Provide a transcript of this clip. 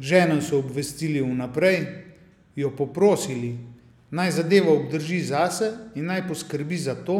Ženo so obvestili vnaprej, jo poprosili, naj zadevo obdrži zase in naj poskrbi za to,